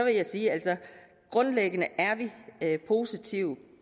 jeg sige at grundlæggende er vi positive